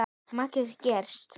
Margrét Geirs.